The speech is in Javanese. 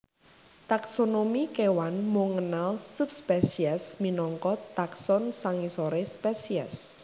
Taksonomi kéwan mung ngenal subspesies minangka takson sangisoré spesies